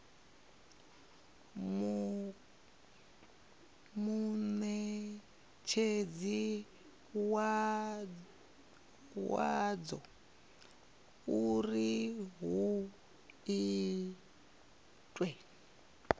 munetshedzi wadzo uri hu itwe